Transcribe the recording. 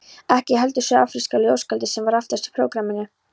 Ekki heldur suður-afríska ljóðskáldið sem var aftast í prógramminu.